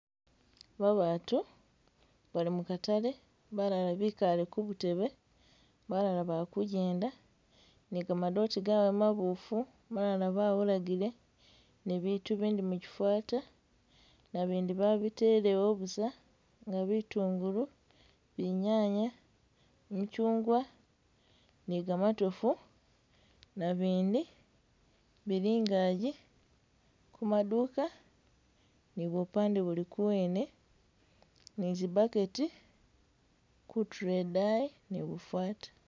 Babatu bali mukatale, balala bikale kubutebe, balala bakujjenda ni gamadote gabwe mabofu, balala bawulagile nibitu bindi mukifata nabindi babitelewo busa nga bitungulu, binyanya, michungwa ni gamatovu nabindi bili ingaji kumaduka ni bupade buli kuwene, ni zi bucket kutulo edayi ni bufata.